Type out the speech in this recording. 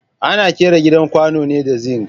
Ana ƙera gidan kwano ne da zing